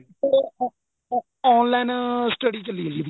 ਉਹ ਅਹ online study ਚੱਲੀ ਜੀ ਉਹਦੀ